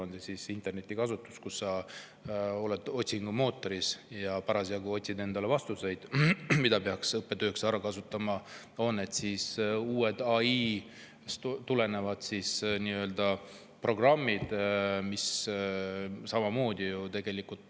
Ükskõik, kas selleks kasutatakse internetti, kui sa oled otsingumootoris ja otsid vastuseid, mida peab õppetööks ära kasutama, või uusi, AI‑st tulenevaid programme.